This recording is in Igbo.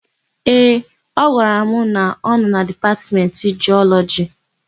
Ee, ọ gwara m na ọ nọ na Dipatmentị Jiọlọjị.